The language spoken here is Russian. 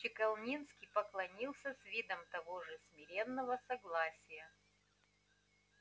чекалинский поклонился с видом того же смиренного согласия